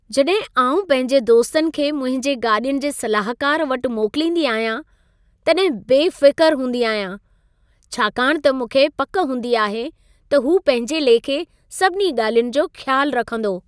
जॾहिं आउं पंहिंजे दोस्तनि खे मुंहिंजे गाॾियुनि जे सलाहकार वटि मोकिलींदी आहियां, तॾहिं बेफ़िक़र हूंदी आहियां। छाकाणि त मूंखे पक हूंदी आहे, त हू पंहिंजे लेखे सभिनी ॻाल्हियुनि जो ख़्यालु रखंदो।